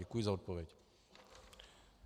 Děkuji za odpověď.